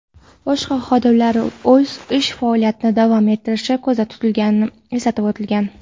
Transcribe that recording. boshqa xodimlar o‘z ish faoliyatini davom ettirishi ko‘zda tutilgani eslatib o‘tilgan.